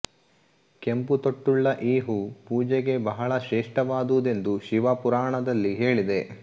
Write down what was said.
ಕೆಂಪು ತೊಟ್ಟುಳ್ಳ ಈ ಹೂ ಪೂಜೆಗೆ ಬಹಳ ಶ್ರೇಷ್ಠವಾದುದೆಂದು ಶಿವಪುರಾಣದಲ್ಲಿ ಹೇಳಿದೆ